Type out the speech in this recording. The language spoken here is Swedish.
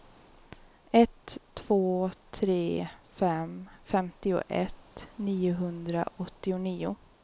ett två tre fem femtioett niohundraåttionio